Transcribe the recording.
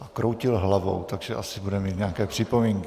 A kroutil hlavou, takže asi bude mít nějaké připomínky.